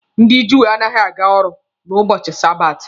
Ndị Júù anaghị aga ọrụ n'ubochi sabati.